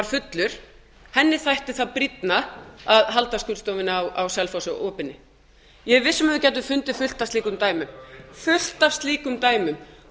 fullur henni þætti það brýnna að halda skurðstofunni á selfossi opinni ég er viss um að við gætum fundið fullt af slíkum dæmum